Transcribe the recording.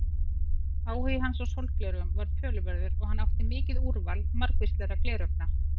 Áhugi hans á sólgleraugum var töluverður og hann átti mikið úrval margvíslegra gleraugna.